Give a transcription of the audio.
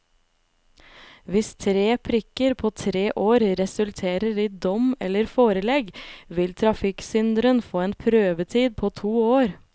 Hvis tre prikker på tre år resulterer i dom eller forelegg, vil trafikksynderen få en prøvetid på to år.